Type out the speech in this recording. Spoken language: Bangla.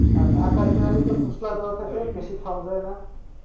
ঢাকাতে একটু মসলা টসলা বেশি দেয় খাওয়া যায়না।